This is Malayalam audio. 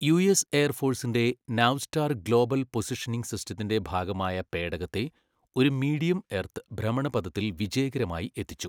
യുഎസ് എയർഫോഴ്സിന്റെ നാവ്സ്റ്റാർ ഗ്ലോബൽ പൊസിഷനിംഗ് സിസ്റ്റത്തിന്റെ ഭാഗമായ പേടകത്തെ ഒരു മീഡിയം എർത്ത് ഭ്രമണപഥത്തിൽ വിജയകരമായി എത്തിച്ചു.